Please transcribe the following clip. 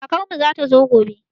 Kakan mu zata zo gobe